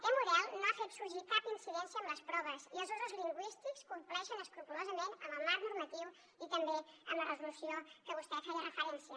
aquest model no ha fet sorgir cap incidència en les proves i els usos lingüístics compleixen escrupolosament el marc normatiu i també la resolució a què vostè feia referència